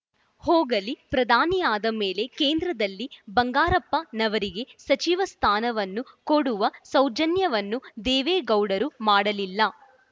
ಹೋಗಲಿ ಪ್ರಧಾನಿಯಾದ ಮೇಲೆ ಕೇಂದ್ರದಲ್ಲಿ ಬಂಗಾರಪ್ಪನವರಿಗೆ ಸಚಿವ ಸ್ಥಾನವನ್ನು ಕೊಡುವ ಸೌಜನ್ಯವನ್ನೂ ದೇವೇಗೌಡರು ಮಾಡಲಿಲ್ಲ